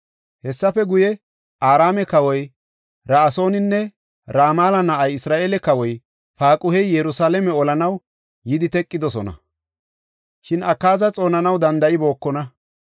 Hessafe guye, Araame kawoy Ra7asooninne Ramala na7ay, Isra7eele kawoy Paaquhey Yerusalaame olanaw yidi teqidosona; shin Akaaza xoonanaw danda7ibookona.